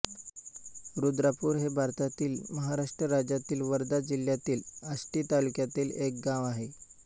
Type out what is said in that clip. रुद्रापूर हे भारतातील महाराष्ट्र राज्यातील वर्धा जिल्ह्यातील आष्टी तालुक्यातील एक गाव आहे